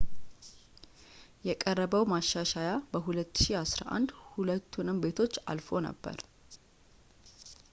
የቀረበው ማሻሻያ በ2011 ሁለቱንም ቤቶች አልፎ ነበር